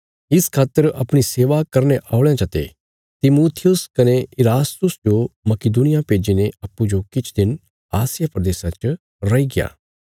इस खातर अपणी सेवा करने औल़यां चते तिमुथियुस कने इरास्तुस जो मकिदुनिया भेज्जीने अप्पूँजो किछ दिन आसिया प्रदेशा च रैईग्या